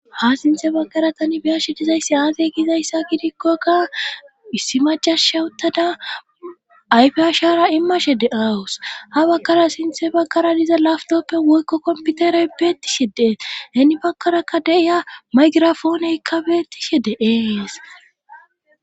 ha sinthe baggara tani biyashe dizayssi aaze gizayssa gidikkokka issi macash shauttada ayfe ashara immashe deawus ha bagkara sinthe baggara diza laftoppe woykko komputerey beettishe dees heni bagkarakka deiya maygirafoonekka beettishe de7eees